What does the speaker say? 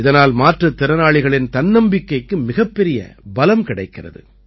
இதனால் மாற்றுத் திறனாளிகளின் தன்னம்பிக்கைக்கு மிகப்பெரிய பலம் கிடைக்கிறது